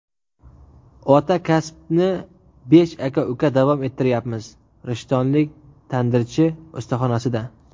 "Ota kasbni besh aka-uka davom ettiryapmiz" — rishtonlik tandirchi ustaxonasida.